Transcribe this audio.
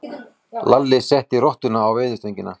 Lalli setti rottuna á veiðistöngina.